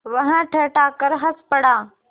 वह ठठाकर हँस पड़ा